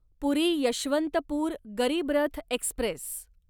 पुरी Yesvantpur Garib Rath Express